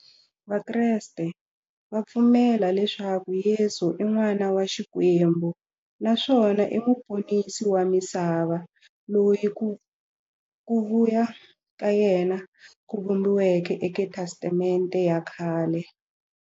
Vakreste va pfumela leswaku Yesu i n'wana wa Xikwembu naswona i muponisi wa misava, loyi ku vuya ka yena ku vhumbiweke e ka Testamente ya khale.